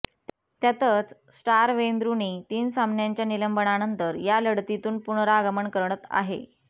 त्यातच star Wayne Rooney तीन सामन्यांच्या निलंबनानंतर या लढतीतून पुनरागमन करत आहे